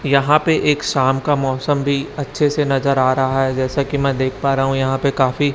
यहां पे एक शाम का मौसम भी अच्छे से नजर आ रहा है जैसे कि मैं देख पा रहा हूं यहां पे काफी--